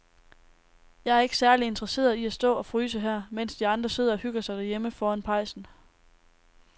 Jeg er ikke særlig interesseret i at stå og fryse her, mens de andre sidder og hygger sig derhjemme foran pejsen.